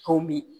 Komi